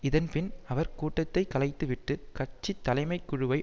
இதன் பின் அவர் கூட்டத்தை கலைத்துவிட்டு கட்சி தலைமைக்குழுவை